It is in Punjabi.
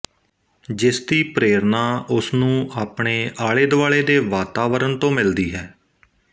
ਜਿਸ ਦੀ ਪ੍ਰੇਰਣਾ ਉਸ ਨੂੰ ਆਪਣੇ ਆਲੇਦੁਆਲੇ ਦੇ ਵਾਤਾਵਰਣ ਤੋਂ ਮਿਲਦੀ ਹੈ